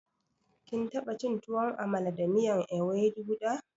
Kin taɓa Chin tuwon Amala da miyan Ewedu da?